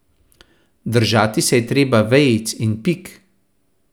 Držati se je treba vejic in pik.